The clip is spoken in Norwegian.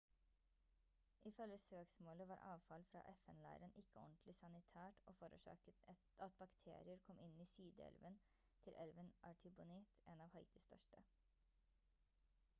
ifølge søksmålet var avfall fra fn-leiren ikke ordentlig sanitært og forårsaket at bakterier kom inn i sideelven til elven artibonite en av haitis største